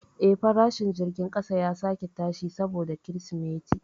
Eh, farashin jirgin kasa ya sake tashi saboda Kirsimeti.